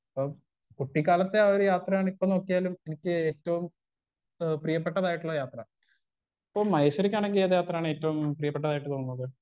Speaker 1 അപ്പം കുട്ടിക്കാലത്തെ ആ ഒരു യാത്രയാണ് എപ്പൊ നോക്കിയാലും എനിക്കേറ്റോം ഏ പ്രിയപ്പെട്ടതായിട്ടുള്ള യാത്ര ഇപ്പൊ മഹേശ്വരിക്കാണെങ്കി ഏത് യാത്രയാണ് ഏറ്റോം പ്രിയപ്പെട്ടതായിട്ട് തോന്നുന്നത്.